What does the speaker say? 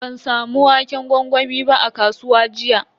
Ban samu waƙen gwangwami ba a kasuwa jiya.